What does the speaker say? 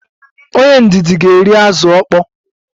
Onye ndidi ga-eri azụ ukpoo